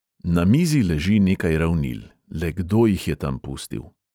Na mizi leži nekaj ravnil, le kdo jih je tam pustil.